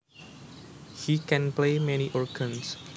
He can play many organs